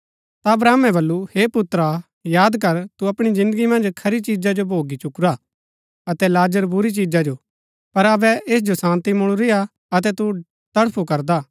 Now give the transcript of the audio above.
ता अब्राहमे बल्लू हे पुत्रा याद कर तु अपणी जिन्दगी मन्ज खरी चीजा जो भोगी चुकुरा अतै लाजर बुरी चिजा जो पर अबै ऐस जो शान्ती मुळुरीआ अतै तू तडफू करदा